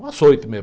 Um açoite mesmo.